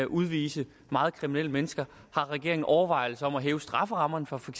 udvise meget kriminelle mennesker har regeringen overvejelser om at hæve strafferammerne for for